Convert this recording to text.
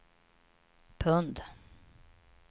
pund